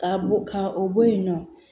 Ka bo ka o bɔ yen nɔ